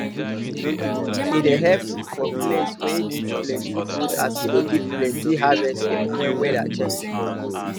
e dey help for place wey need plenty food as e dey give plenty harvest even when weather change